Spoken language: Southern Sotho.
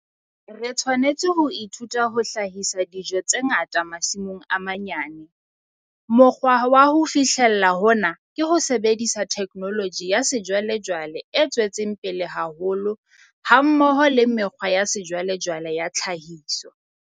Re tshwanetse ho ithuta ho hlahisa dijo tse ngata masimong a manyane. Mokgwa wa ho fihlella hona ke ho sebedisa theknoloji ya sejwalejwale e tswetseng pele haholo hammoho le mekgwa ya sejwalejwale ya tlhahiso.